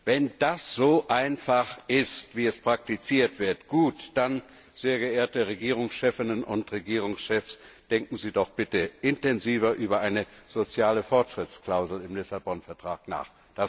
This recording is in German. Wenn das so einfach ist, wie es praktiziert wird, gut, dann, sehr geehrte Regierungschefinnen und Regierungschefs, denken Sie doch bitte intensiver über eine soziale Fortschrittsklausel im Vertrag von Lissabon nach.